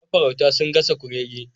Mafarauta sun gasa kurege